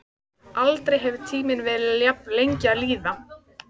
Aldrei hefur tíminn verið jafn lengi að líða.